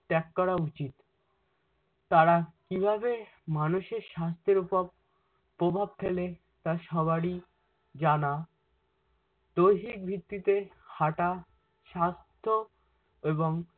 ত্যাগ করা উচিৎ। তারা কিভাবে মানুষের সাস্থের উপর প্রভাব ফেলে তা সবারই জানা দৈহিক ভিত্তিতে হাটা স্বাস্থ্য এবং